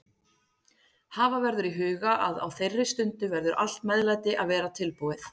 Hafa verður í huga að á þeirri stundu verður allt meðlæti að vera tilbúið.